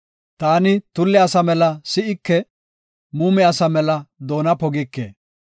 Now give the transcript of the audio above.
Ta tulle asa mela si7ike; muume asa mela doona pogike.